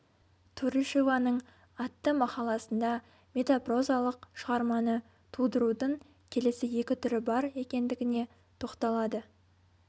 турышеваның атты мақаласында метапрозалық шығарманы тудырудың келесі екі түрі бар екендігіне тоқталады